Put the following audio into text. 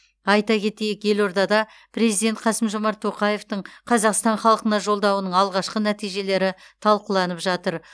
айта кетейік елордада президент қасым жомарт тоқаевтың қазақстан халқына жолдауының алғашқы нәтижелері талқыланып жатыр